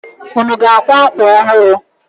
Unu ga-akwa akwa ọhụrụ?